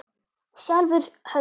Sjálfir höfðu